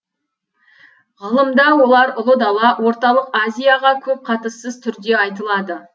ғылымда олар ұлы дала орталық азияға көп қатыссыз түрде айтылады